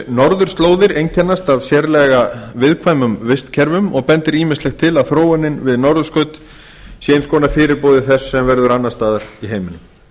norðurslóðir einkennast af sérlega viðkvæmum vistkerfum og bendir ýmislegt á að þróunin við norðurskaut sé eins konar fyrirboði þess sem verður annars staðar í heiminum